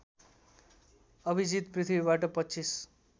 अभिजित पृथ्वीबाट २५